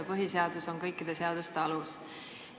Põhiseadus on kõikide seaduste alus.